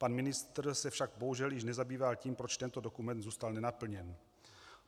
Pan ministr se však bohužel již nezabýval tím, proč tento dokument zůstal nenaplněn.